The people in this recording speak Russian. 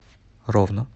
ровно